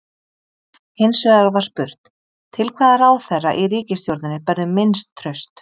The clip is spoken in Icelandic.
Hins vegar var spurt: Til hvaða ráðherra í ríkisstjórninni berðu minnst traust?